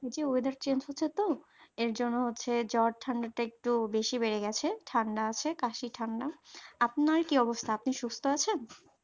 এই যে এটা weather change হয়েছে তো এর জন্য হচ্ছে জ্বর ঠান্ডাটা একটু বেশি বেড়ে গেছে ঠান্ডা আছে কাশি ঠান্ডা আপনার কি অবস্থা? আপনি সুস্থ আছেন